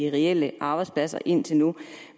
af reelle arbejdspladser indtil nu